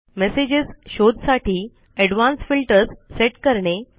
messages शोध साठी advanced filters set करणे